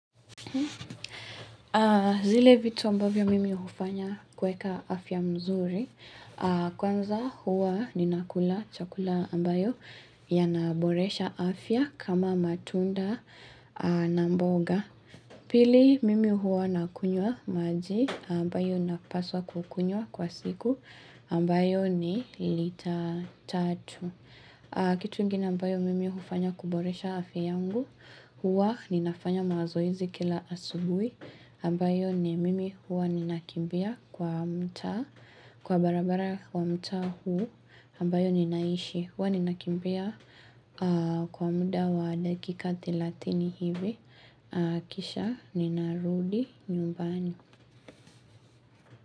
Zile vitu ambavyo mimi hufanya kweka afya mzuri. Kwanza huwa ninakula chakula ambayo yanaboresha afya kama matunda na mboga. Pili mimi huwa nakunywa maji ambayo napaswa kukunywa kwa siku ambayo ni lita tatu. Kitu ingine ambayo mimi hufanya kuboresha afya yangu, huwa ninafanya mazoezi kila asubuhi, ambayo ni mimi huwa ninakimbia kwa mtaa, kwa barabara wa mtaa huu, ambayo ninaishi, huwa ninakimbia kwa muda wa dakikati thelathini hivi, kisha ninarudi nyumbani.